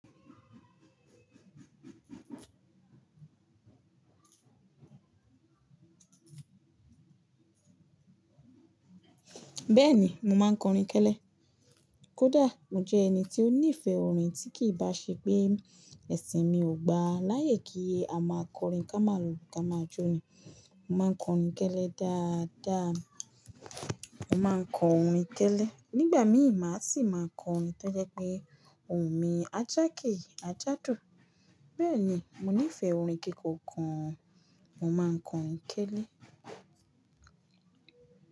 Bẹ́ẹ̀ni, mo máa ń kọrin kẹ́lẹ́. Kódà mo jẹ́ ẹni tí ó nífẹ̀ẹ́ orin tí kì í bá ṣe pé ẹ̀sìn mi ò gbaláyé kí a máa kọrin ká máa lulu ká máa jó ni. Mo máa ń kọrin kẹ́lẹ́ dáadáa. Mo máa ń kọ orin kẹ́lẹ́. Nígbà mí ì má sì máa kọ orin tó jẹ́ pé òun mi ń ajáke ajádo. Bẹ́ẹ̀ni, mo nífẹ̀ẹ́ orin kikọ́ gan, mo máa ń kọ orin kẹ́lẹ́